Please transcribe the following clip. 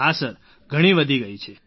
હા સર ઘણી વધી ગઈ છે